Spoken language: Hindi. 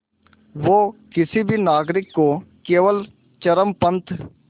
वो किसी भी नागरिक को केवल चरमपंथ